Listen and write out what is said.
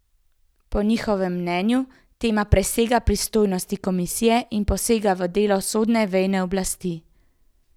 Po njihovem mnenju tema presega pristojnosti komisije in posega v delo sodne veje oblasti.